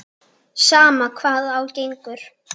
Sama hvað á gengur.